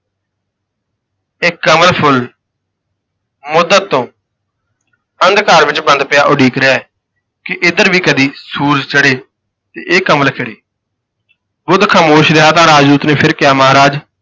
ਇਕ ਕੰਵਲ ਫੁੱਲ ਮੁੱਦਤ ਤੋਂ ਅੰਧਕਾਰ ਵਿਚ ਬੰਦ ਪਿਆ ਉਡੀਕ ਰਿਹਾ ਹੈ ਕਿ ਇੱਧਰ ਵੀ ਕਦੀ ਸੂਰਜ ਚੜ੍ਹੇ ਤੇ ਇਹ ਕੰਵਲ ਖਿੜੇ ਬੁੱਧ ਖਾਮੋਸ਼ ਰਿਹਾ ਤਾਂ ਰਾਜ ਦੂਤ ਨੇ ਫਿਰ ਕਿਹਾ, ਮਹਾਰਾਜ